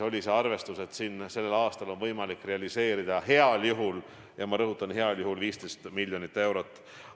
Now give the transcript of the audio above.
Aga arvestus oli, et tänavu on võimalik realiseerida heal juhul – ja ma rõhutan: heal juhul – 15 miljonit eurot.